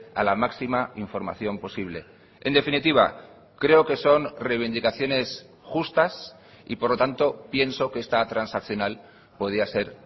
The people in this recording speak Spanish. a la máxima información posible en definitiva creo que son reivindicaciones justas y por lo tanto pienso que esta transaccional podía ser